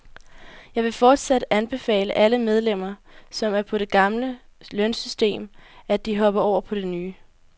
Jeg vil fortsat anbefale alle medlemmer, som er på det gamle lønsystem, at de hopper over på det nye.